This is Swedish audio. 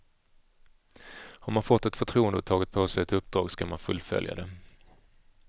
Har man fått ett förtroende och tagit på sig ett uppdrag skall man fullfölja det.